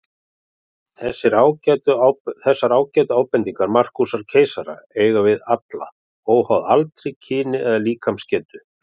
Þessar ágætu ábendingar Markúsar keisara eiga við alla, óháð aldri, kyni eða líkamsgetu.